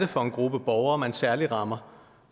for en gruppe borgere man særlig rammer